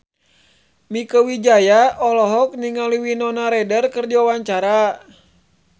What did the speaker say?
Mieke Wijaya olohok ningali Winona Ryder keur diwawancara